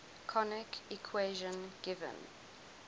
conic equation given